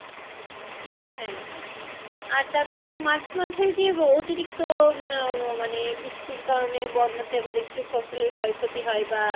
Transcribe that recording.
হ্যাঁ হ্যাঁ আর তারপর মাঝে মাঝে যে অতিরিক্ত উম মানে বৃষ্টির কারনে বন্যাতে আমাদের ফসলের ক্ষয় ক্ষতি হয় বা,